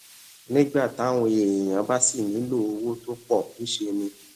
nígbà táwọn èèyàn bá sì nílò owó tó pò ńṣe ni